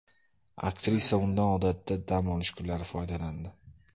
Aktrisa undan odatda dam olish kunlari foydalandi.